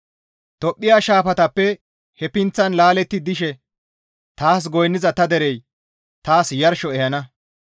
Tophphiya shaafatappe he pinththan laaletti dishe taas goynniza ta derey taas yarsho ehana.